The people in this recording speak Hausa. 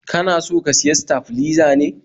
kana so ka siya staflizer ne?